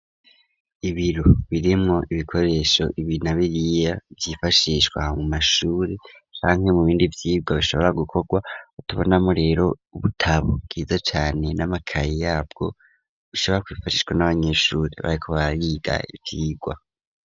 Ibiro birimwo ibikoresho ibi na biriya vyifashishwa mu mashuri canke mu bindi vyigwa bishobora gukogwa, tubonamwo rero ubutabo bwiza cane n'amakayi yabwo bishobora kwifashishwa n'abanyeshuri bariko barig'ivyigwa.